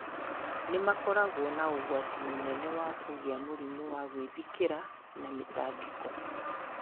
nĩ makoragũo na ũgwati mũnene wa kũgĩa mũrimũ wa gwĩthikĩra na mĩtangĩko.